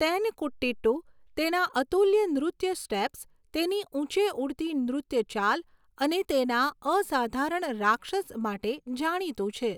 તેનકુટીટ્ટુ તેના અતુલ્ય નૃત્ય સ્ટેપ્સ, તેની ઊંચે ઊડતી નૃત્ય ચાલ અને તેના અસાધારણ રાક્ષસ માટે જાણીતું છે.